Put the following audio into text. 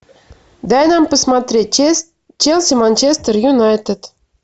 дай нам посмотреть челси манчестер юнайтед